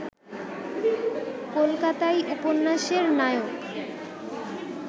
কলকাতাই উপন্যাসের নায়ক